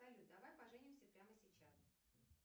салют давай поженимся прямо сейчас